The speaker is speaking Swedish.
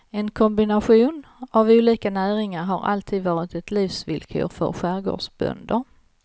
En kombination av olika näringar har alltid var ett livsvillkor för skärgårdbönder.